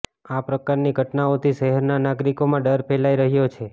આ પ્રકારની ઘટનાઓથી શહેરના નાગરિકોમાં ડર ફેલાય રહ્યો છે